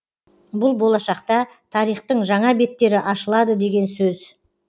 бұл болашақта тарихтың жаңа беттері ашылады деген сөз